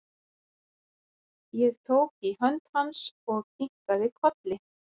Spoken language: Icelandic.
Ég tók í hönd hans og kinkaði kolli.